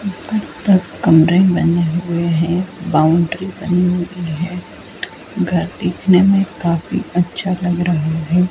ऊपर तक कमरे बने हुए है बाउंड्री बनी हुई हैं घर दिखने में काफी अच्छा लग रहा है।